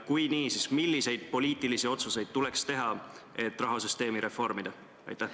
Kui jah, siis milliseid poliitilisi otsuseid tuleks teha, et rahasüsteemi reformida?